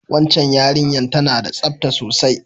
Wacan yarinyar ta na da tsafta sosai